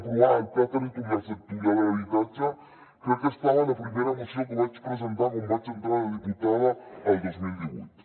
aprovar el pla territorial sectorial de l’habitatge crec que estava a la primera moció que vaig presentar quan vaig entrar de diputada el dos mil divuit